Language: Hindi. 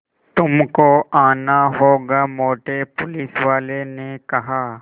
तुमको आना होगा मोटे पुलिसवाले ने कहा